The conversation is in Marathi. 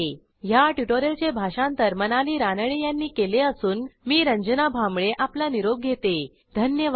ह्या ट्युटोरियलचे भाषांतर मनाली रानडे यांनी केले असून मी रंजना भांबळे आपला निरोप घेते160धन्यवाद